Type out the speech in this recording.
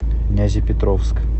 нязепетровск